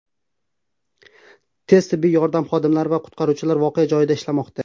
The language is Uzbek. Tez-tibbiy yordam xodimlari va qutqaruvchilar voqea joyida ishlamoqda.